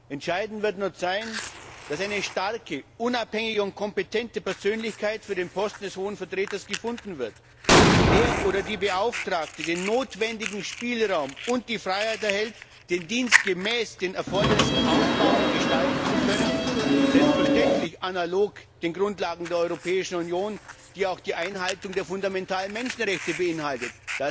Entscheidend wird sein, dass eine starke, unabhängige und kompetente Persönlichkeit für den Posten des Hohen Vertreters gefunden wird und dass der oder die Beauftragte den notwendigen Spielraum und die Freiheit erhält, den Dienst gemäß den Erfordernissen aufbauen und gestalten zu können, selbstverständlich analog den Grundlagen der Europäischen Union, die auch die Einhaltung der fundamentalen Menschenrechte beinhalten.